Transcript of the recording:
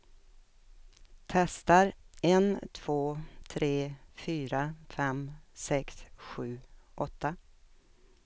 Testar en två tre fyra fem sex sju åtta.